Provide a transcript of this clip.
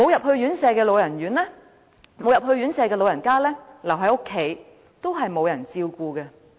即使老人家沒有入住院舍，但留在家中也是沒有人照顧的。